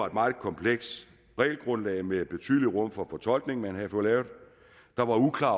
et meget komplekst regelgrundlag med betydelig rum for fortolkning som man havde fået lavet der var uklare